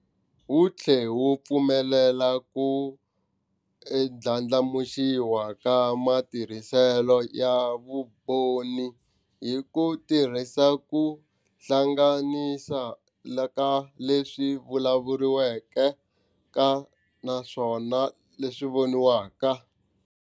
Wu tlhela wu pfumelela ku ndlandlamuxiwa ka matirhiselo ya vumbhoni hi ku tirhisa ku hlanganisa ka leswi vulavuriwaka naswona leswi voniwaka.